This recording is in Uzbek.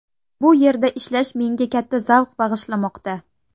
Bu yerda ishlash menga katta zavq bag‘ishlamoqda.